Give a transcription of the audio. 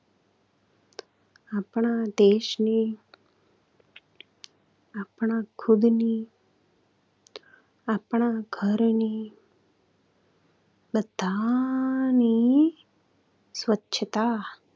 આપણા દેશની, આપણા ખુદની, આપણા ઘરની, બધાની સ્વચ્છતા.